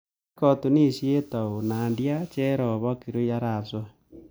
Kiiraat katunisiet au nadia cherop ak kirui arap soy